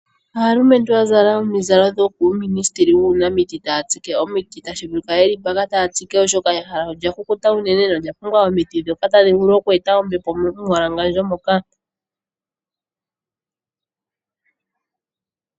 Aalumentu ya zala omizalo dhokUuminisitili taya tsike omiti. Tashi vulika ye li mpaka taa tsike, oshoka ehala olya kukuta unene nolya pumbwa omiti ndhoka tadhi vulu oku eta ombepo momumbwalangandjo moka.